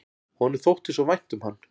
Honum þótti svo vænt um hann.